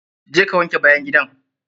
Je ka wanke bayan gidan!